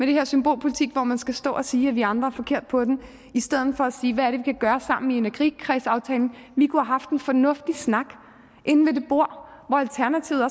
det her symbolpolitik hvor man skal stå og sige at vi andre er forkert på den i stedet for at sige hvad vi kan gøre sammen i energikredsaftalen vi kunne have haft en fornuftig snak inde ved det bord